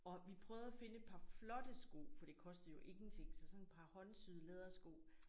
Og vi prøvede at finde et par flotte sko for det kostede jo ingenting så sådan et par håndsyede lædersko